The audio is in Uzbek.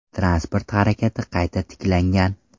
Transport harakati qayta tiklangan.